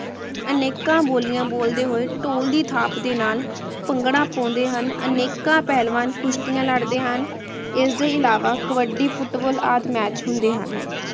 ਅਨੇਕਾਂ ਬੋਲਿਯਾਬ ਬੋਲਦੇ ਹੋਆਯ ਧੂਲ ਦੀ ਥਾਪ ਦੇ ਨਾਲ ਭੰਗੜਾ ਪਾਉਂਦੇ ਹਨ ਅਨੇਕਾਂ ਪਹਲਵਾਨ ਕੁਸ਼੍ਤਿਯਾਂ ਲੜਦੇ ਹਨ ਇਸਦੇ ਇਲਾਵਾ ਕਬਡੀ ਫੁਟਬਾਲ ਆਦੀ ਮੈਚ ਹੁੰਦੇ ਹਨ